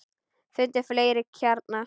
Fundið fleiri kjarna.